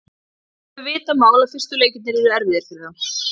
Það var alveg vitað mál að fyrstu leikirnir yrðu erfiðir fyrir þá.